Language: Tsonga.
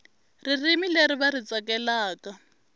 ririmi leri va ri tsakelaka